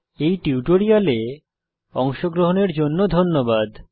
এই টিউটোরিয়ালে অংশগ্রহনের জন্য ধন্যবাদ